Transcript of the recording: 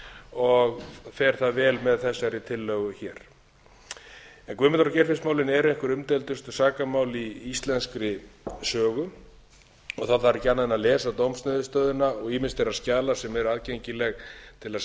og fer það vel með þessari tillögu hér guðmundar og geirfinnsmálin eru einhver umdeildustu dómsmál í íslenskri sögu ekki þarf annað en lesa dómsniðurstöðuna og ýmis þeirra skjala sem aðgengileg eru til að